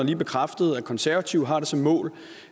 lige bekræftet at konservative har som mål